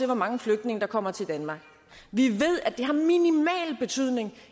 hvor mange flygtninge der kommer til danmark vi ved at det har minimal betydning